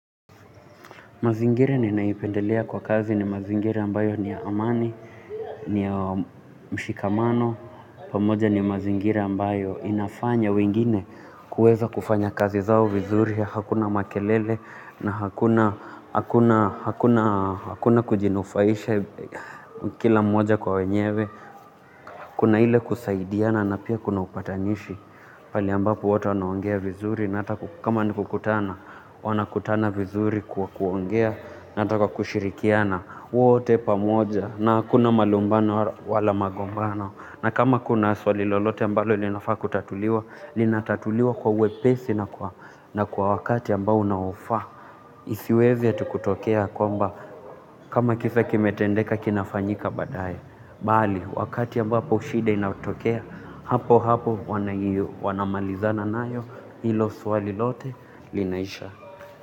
Mazingira ninaipendelea kwa kazi ni mazingira ambayo ni amani, ni mshikamano, pamoja ni mazingira ambayo inafanya wengine kuweza kufanya kazi zao vizuri, hakuna makelele na hakuna kujinufaisha kila mmoja kwa wenyewe. Kuna ile kusaidiana na pia kuna upatanishi pahali ambapo watu wanaongea vizuri na kama ni kukutana, wanakutana vizuri kwa kuongea hata kwa kushirikiana wote pamoja na hakuna malumbano wala magombano na kama kuna swali lolote ambalo linafaa kutatuliwa, linatatuliwa kwa wepesi na kwa na kwa wakati ambao unaofaa. Isiweze tu kutokea kwamba kama kisa kimetendeka kinafanyika baadaye. Bali, wakati ambapo shida inatokea, hapo hapo wanamalizana nayo hilo swali lote linaisha.